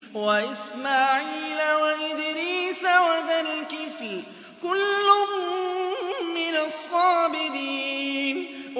وَإِسْمَاعِيلَ وَإِدْرِيسَ وَذَا الْكِفْلِ ۖ كُلٌّ مِّنَ الصَّابِرِينَ